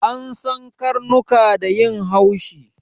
An san karnuka da yin haushi